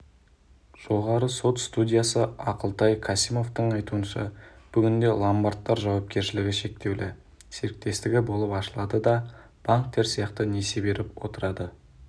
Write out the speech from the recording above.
жоғарғы сот судьясы ақылтай касимовтың айтуынша бүгінде ломбардтар жауапкершілігі шектеулі серіктестігі болып ашылады да банктер сияқты несие беріп отырады